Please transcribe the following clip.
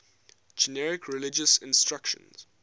generic religious instruction